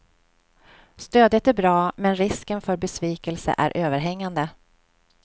Stödet är bra, men risken för besvikelse är överhängande.